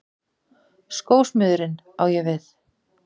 Skósmiðurinn, á ég við.